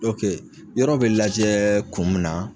OK yɔrɔ bɛ lajɛ kun min na.